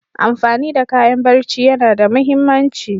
Amfani da kayan barci yana da muhimmanci.